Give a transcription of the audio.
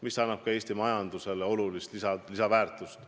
See annab ju Eesti majandusele olulist lisaväärtust.